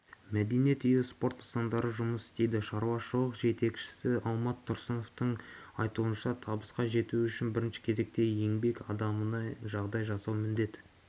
мәдениет үйі спорт нысандары жұмыс істейді шаруашылық жетекшісі алмат тұрсыновтың айтуынша табысқа жету үшін бірінші кезекте еңбек адамына жағдай жасау міндет